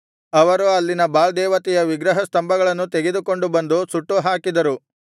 ಅವರು ಅಲ್ಲಿನ ಬಾಳ್ ದೇವತೆಯ ವಿಗ್ರಹ ಸ್ತಂಭಗಳನ್ನು ತೆಗೆದುಕೊಂಡು ಬಂದು ಸುಟ್ಟುಹಾಕಿದರು